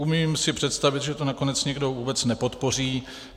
Umím si představit, že to nakonec někdo vůbec nepodpoří.